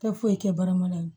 Tɛ foyi kɛ barama in